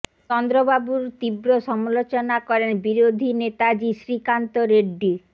চন্দ্রবাবুর তীব্র সমালোচনা করেন বিরোধী নেতা জি শ্রীকান্ত রেড্ডি